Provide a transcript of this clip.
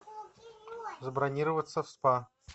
забронироваться в спа